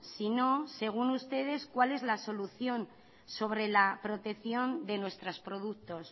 sino según ustedes cuál es la solución sobre la protección de nuestros productos